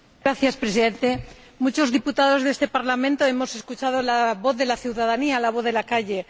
Señor Presidente, muchos diputados de este Parlamento hemos escuchado la voz de la ciudadanía, la voz de la calle.